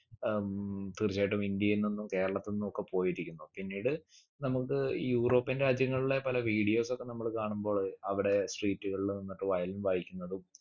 ഏർ ഉം തീർച്ചയായിട്ടും ഇന്ത്യയിൽ നിന്നും കേരളത്തിൽ നിന്നു ഒക്കെ പോയിരിക്കുന്നു പിന്നീട് നമുക്ക് european രാജ്യങ്ങളിലെ പല videos ഒക്കെ നമ്മള് കാണുമ്പോള് അവിടെ street കളിൽ നിന്നിട്ട് violin വായിക്കുന്നതും